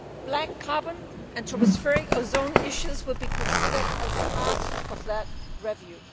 Black carbon and tropospheric ozone issues will be considered as part of that review.